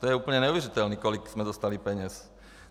To je úplně neuvěřitelné, kolik jsme dostali peněz!